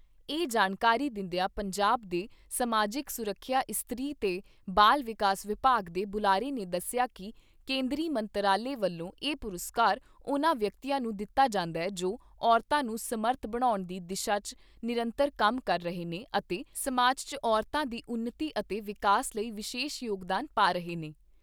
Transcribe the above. ਇਹ ਜਾਣਕਾਰੀ ਦਿੰਦਿਆਂ ਪੰਜਾਬ ਦੇ ਸਮਾਜਿਕ ਸੁਰੱਖਿਆ ਇਸਤਰੀ ਤੇ ਬਾਲ ਵਿਕਾਸ ਵਿਭਾਗ ਦੇ ਬੁਲਾਰੇ ਨੇ ਦੱਸਿਆ ਕਿ ਕੇਂਦਰੀ ਮੰਤਰਾਲੇ ਵੱਲੋਂ ਇਹ ਪੁਰਸਕਾਰ ਉਨ੍ਹਾਂ ਵਿਅਕਤੀਆਂ ਨੂੰ ਦਿੱਤਾ ਜਾਂਦਾ ਜੋ ਔਰਤਾਂ ਨੂੰ ਸਮਰੱਥ ਬਣਾਉਣ ਦੀ ਦਿਸ਼ਾ 'ਚ ਨਿਰੰਤਰ ਕੰਮ ਕਰ ਰਹੇ ਨੇ ਅਤੇ ਸਮਾਜ 'ਚ ਔਰਤਾਂ ਦੀ ਉਨਤੀ ਅਤੇ ਵਿਕਾਸ ਲਈ ਵਿਸ਼ੇਸ਼ ਯੋਗਦਾਨ ਪਾ ਰਹੇ ਨੇ।